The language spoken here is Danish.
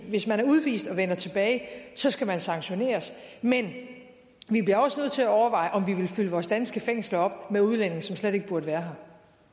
hvis man er udvist og vender tilbage så skal man sanktioneres men vi bliver også nødt til at overveje om vi vil fylde vores danske fængsler op med udlændinge som slet ikke burde være